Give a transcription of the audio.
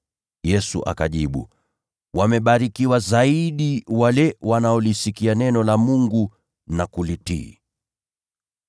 Yesu akajibu, “Wamebarikiwa zaidi wale wanaolisikia neno la Mungu na kulitii.”